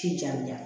K'i janja